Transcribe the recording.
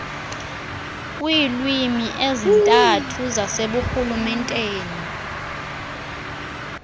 kwiilwimi ezintathu zaseburhulumenteni